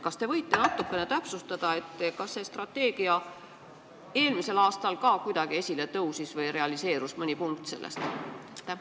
Kas te võite natukene täpsustada, kas see strateegia eelmisel aastal ka kuidagi esile tõusis või realiseerus mõni selle punkt?